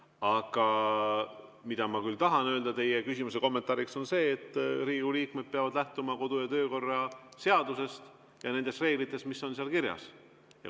Aga ma tahan öelda teie küsimuse kommentaariks, et Riigikogu liikmed peavad lähtuma kodu‑ ja töökorra seadusest ja nendest reeglitest, mis on seal kirjas.